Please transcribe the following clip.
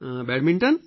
badminton